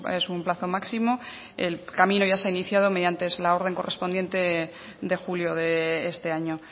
es un plazo máximo el camino ya se ha iniciado mediante es la orden correspondiente de julio de este año